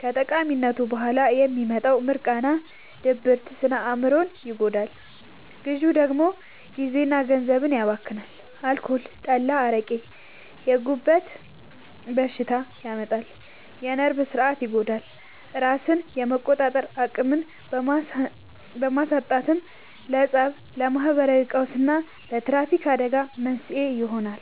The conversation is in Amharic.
ከቃሚነቱ በኋላ የሚመጣው «ሚርቃና» (ድብርት) ስነ-አእምሮን ሲጎዳ፣ ግዢው ደግሞ ጊዜና ገንዘብን ያባክናል። አልኮል (ጠላ፣ አረቄ)፦ የጉበት በሽታ ያመጣል፣ የነርቭ ሥርዓትን ይጎዳል፤ ራስን የመቆጣጠር አቅምን በማሳጣትም ለፀብ፣ ለማህበራዊ ቀውስና ለትራፊክ አደጋዎች መንስኤ ይሆናል።